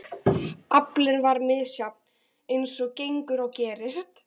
Aflinn var misjafn eins og gengur og gerist.